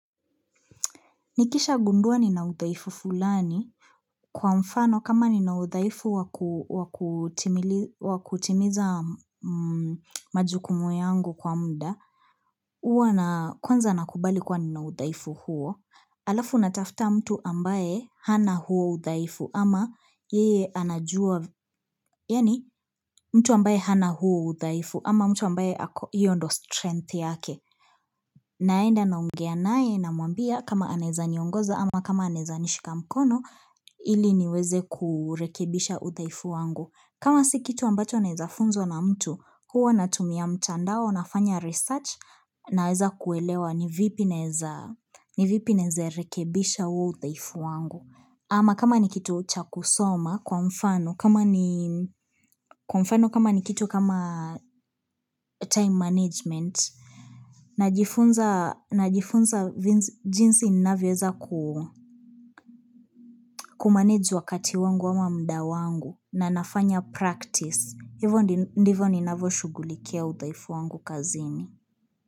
Nikisha gundua nina uthaifu fulani. Kwa mfano, kama nina uthaifu wakutimiza majukumu yangu kwa mda, huwa na, kwanza nakubali kuwa nina uthaifu huo. Alafu natafta mtu ambaye hana huo uthaifu ama yeye anajua, yani mtu ambaye hana huo uthaifu ama mtu ambaye ako hiyo ndiyo strength yake. Naenda na ongea naye na mwambia kama anaweza niongoza ama kama anaweza nishika mkono ili niweze kurekebisha uthaifu wangu. Kama si kitu ambacho naweza funzwa na mtu huwa natumia mtandao na fanya research na weza kuelewa ni vipi naweze rekebisha huo uthaifu wangu. Ama kama ni kitu cha kusoma kwa mfano kama ni kwa mfano kama ni kitu kama time management Najifunza najifunza jinsi ninaweza kumanage wakati wangu ama mda wangu na nafanya practice Hiyvo ndivyo ninavyo shugulikia uthaifu wangu kazini.